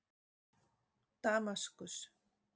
Damaskus